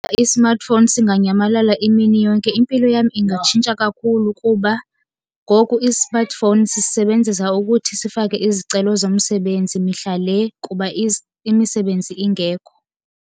I-smartphone singanyamalala imini yonke, impilo yam ingatshintsha kakhulu. Kuba ngoku i-smartphone sisebenzisa ukuthi sifake izicelo zomsebenzi mihla le, kuba imisebenzi ingekho.